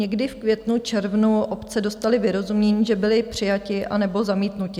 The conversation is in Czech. Někdy v květnu, červnu obce dostaly vyrozumění, že byly přijaty nebo zamítnuty.